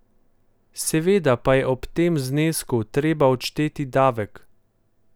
Seveda pa je ob tem znesku treba odšteti davek ...